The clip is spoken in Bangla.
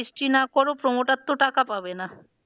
Registry না করো promoter তো টাকা পাবে না।